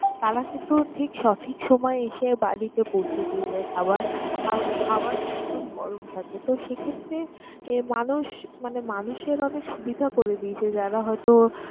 তারা কিন্তু ঠিক সঠিক সময়ে এসে বাড়িতে পৌঁছে দিয়ে যায় খাবার আর খাবার একদম গরম থাকে। তো, সেক্ষেত্রে আহ মানুষ মানে মানুষের অনেক সুবিধা করে দিয়েছে যারা হয়তো